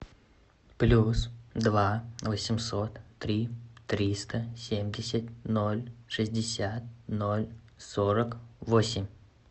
плюс два восемьсот три триста семьдесят ноль шестьдесят ноль сорок восемь